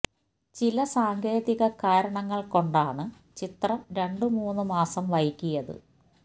ചില സാങ്കേതിക കാരണങ്ങള് കൊണ്ടാണ് ചിത്രം രണ്ടു മൂന്ന് മാസം വൈകിയത്